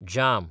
जाम